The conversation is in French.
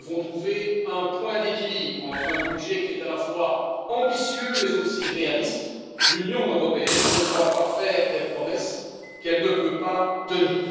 Nous devons trouver un point d'équilibre entre un budget qui est à la fois ambitieux, mais aussi réaliste. L'Union européenne ne doit pas faire des promesses qu'elle ne peut pas tenir.